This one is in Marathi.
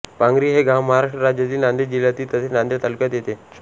पांगरी हे गाव महाराष्ट्र राज्यातील नांदेड जिल्ह्यात तसेच नांदेड तालुक्यात येते